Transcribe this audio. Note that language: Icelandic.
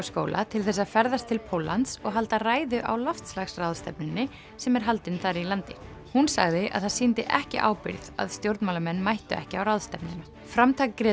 skóla til þess að ferðast til Póllands og halda ræðu á loftslagsráðstefnunni sem er haldin þar í landi hún sagði að það sýndi ekki ábyrgð að stjórnmálamenn mættu ekki á ráðstefnuna framtak